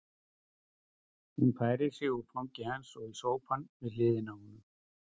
Hún færir sig úr fangi hans og í sófann við hliðina á honum.